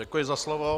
Děkuji za slovo.